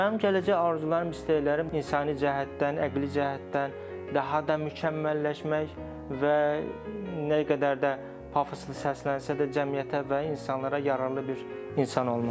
Mənim gələcək arzularım, istəklərim insani cəhətdən, əqli cəhətdən daha da mükəmməlləşmək və nə qədər də pafoslu səslənsə də cəmiyyətə və insanlara yararlı bir insan olmaqdır.